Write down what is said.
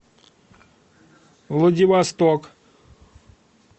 владивосток